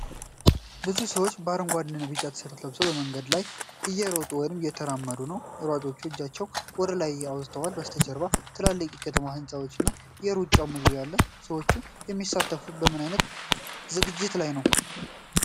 ብዙ ሰዎች አረንጓዴና ቢጫ ቲሸርት ለብሰው በመንገድ ላይ እየሮጡ ወይም እየተራመዱ ነው። ሯጮቹ እጃቸውን ወደ ላይ አውጥተዋል። ከበስተጀርባ ትላልቅ የከተማ ህንጻዎች እና የሩጫው መግቢያ አለ። ሰዎቹ የሚሳተፉት በምን አይነት ዝግጅት ላይ ነው?